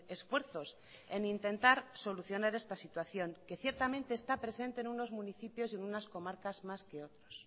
esfuerzos en intentar solucionar esta situación que ciertamente está presente en unos municipios y en unas comarcas más que en otros